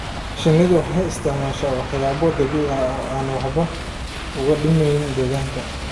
Shinnidu waxay isticmaashaa walxo dabiici ah oo aan waxba u dhimayn deegaanka.